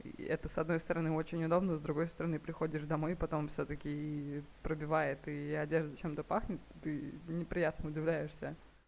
это с одной стороны очень удобно с другой стороны приходишь домой потом всё-таки и пробивает и одежда чем-то пахнет ты неприятно удивляешься